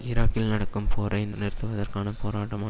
ஈராக்கில் நடக்கும் போரை நிறுத்துவதற்கான போராட்டமோ